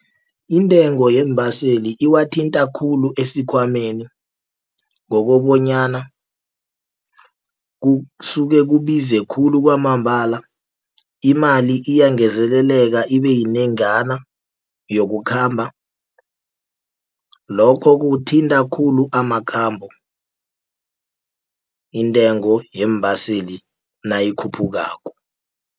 Intengo yeembaseli iwathinta khulu esikhwameni, ngokobonyana kusuke kubize khulu kwamambala, imali iyangezeleleka ibe yinengana yokukhamba. Lokho kuthinta khulu amakhambo intengo yeembaseli nayikhuphukako.